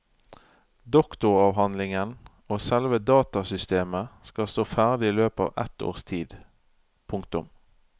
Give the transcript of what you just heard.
Doktoravhandlingen og selve datasystemet skal stå ferdig i løpet av et års tid. punktum